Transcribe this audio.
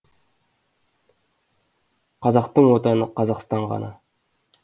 қазақтың отаны қазақстан ғана